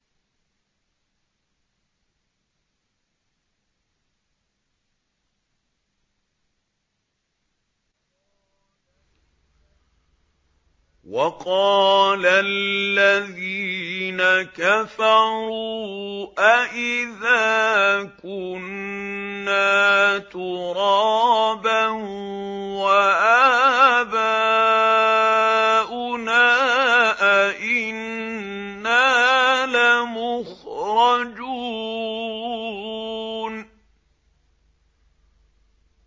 وَقَالَ الَّذِينَ كَفَرُوا أَإِذَا كُنَّا تُرَابًا وَآبَاؤُنَا أَئِنَّا لَمُخْرَجُونَ